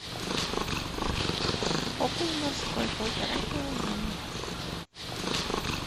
окунь морской полтора килограмма